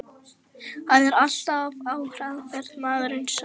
Hann er alltaf á hraðferð, maðurinn sá.